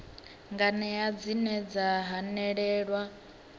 nganea dzine dza hanelelwa nga